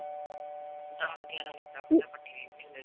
ਦਸ ਗਿਆਰਾਂ ਵਜੇ ਤੱਕ ਤਾਂ ਆਪਾਂ TV ਵੇਖਦੇ